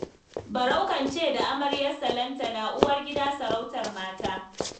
Barau kan ce da amaryarsa Lantana 'uwar gida sarautar mata'